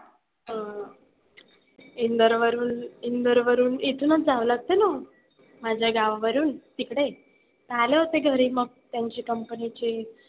अह इंदोरवरून इंदुरवरून इथूनच जावं लागतं ना माझ्या गावावरून तिकडे. तर आले होते घरी मग. त्यांच्या company चे,